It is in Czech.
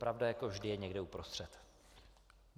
Pravda jako vždy je někde uprostřed.